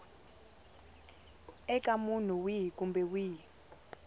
eka munhu wihi kumbe wihi